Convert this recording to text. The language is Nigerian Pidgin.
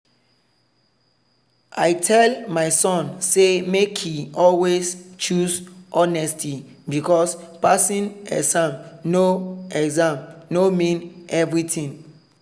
i tell my son say make e always choose honesty because passing exam no exam no mean everything.